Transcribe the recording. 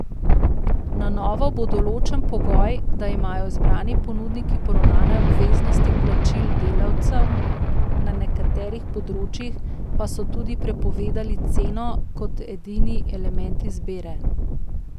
Na novo bo določen pogoj, da imajo izbrani ponudniki poravnane obveznosti plačil delavcem, na nekaterih področjih pa so tudi prepovedali ceno kot edini element izbire.